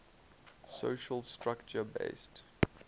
social structure based